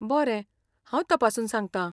बरें, हांव तपासून सांगता!